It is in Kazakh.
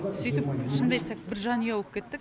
сөйтіп шынымды айтсақ бір жанұя боп кеттік